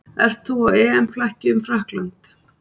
Ert þú á EM-flakki um Frakkland?